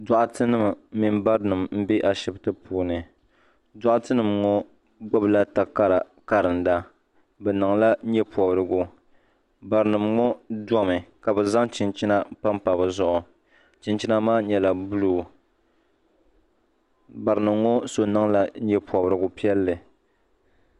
Doɣate nima ni barinima m be ashiptini doɣate nima ŋɔ gbibila takara nima n karinda bɛ niŋla nyɛ pobrigu barinima ŋɔ domi ka bɛ zaŋ chinchina pam pa bɛ zuɣu chinchina maa nyɛla buluu barinima ŋɔ so niŋla nyɛpobrigu piɛlli.